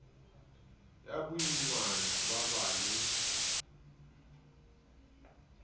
ya boimana ba ba le